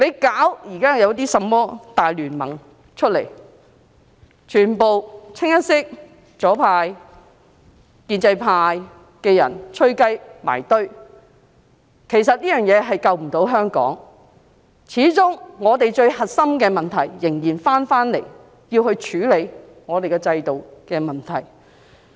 現在成立的甚麼大聯盟，全部清一色由左派、建制派的人"吹雞"組成，其實這樣無法救香港，始終我們最核心的問題，仍然是要處理我們的制度問題。